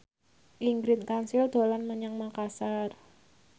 Ingrid Kansil dolan menyang Makasar